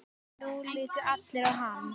Nú litu allir á hann.